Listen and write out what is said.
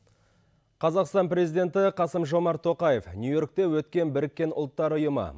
қазақстан президенті қасым жомарт тоқаев нью йоркте өткен біріккен ұлттар ұйымы